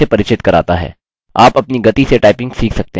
आप अपनी गति से टाइपिंग सीख सकते हैं